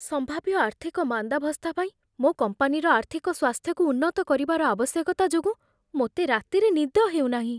ସମ୍ଭାବ୍ୟ ଆର୍ଥିକ ମାନ୍ଦାବସ୍ଥା ପାଇଁ ମୋ କମ୍ପାନୀର ଆର୍ଥିକ ସ୍ୱାସ୍ଥ୍ୟକୁ ଉନ୍ନତ କରିବାର ଆବଶ୍ୟକତା ଯୋଗୁଁ ମୋତେ ରାତିରେ ନିଦ ହେଉନାହିଁ।